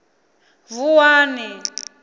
vuwani